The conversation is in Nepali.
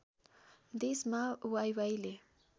देशमा वाइवाइले